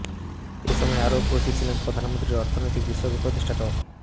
এ সময় আরও উপস্থিত ছিলেন প্রধানমন্ত্রীর অর্থনৈতিক বিষয়ক উপদেষ্টা ড